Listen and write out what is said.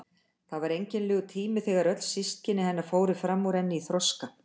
Það var einkennilegur tími þegar öll systkini hennar fóru fram úr henni í þroska.